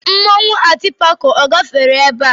Mmanwụ atịpako a gafere ebe a?